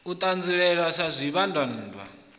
u ṱanzielwa sa zwivhambadzwann a